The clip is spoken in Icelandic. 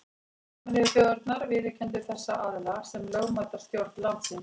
Sameinuðu þjóðirnar viðurkenndu þessa aðila sem lögmæta stjórn landsins.